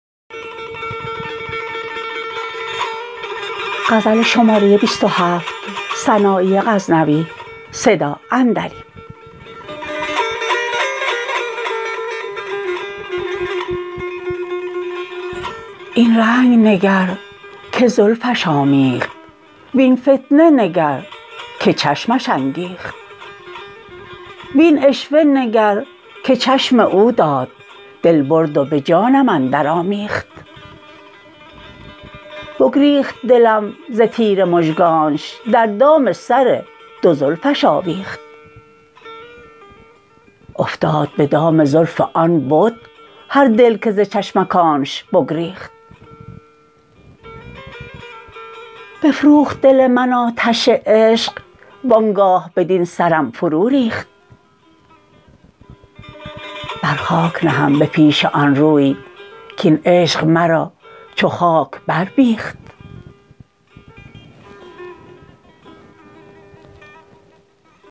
این رنگ نگر که زلفش آمیخت وین فتنه نگر که چشمش انگیخت وین عشوه نگر که چشم او داد دل برد و به جانم اندر آمیخت بگریخت دلم ز تیر مژگانش در دام سر دو زلفش آویخت افتاد به دام زلف آن بت هر دل که ز چشمکانش بگریخت بفروخت دل من آتش عشق وانگاه بدین سرم فرو ریخت بر خاک نهم به پیش آن روی کین عشق مرا چو خاک بر بیخت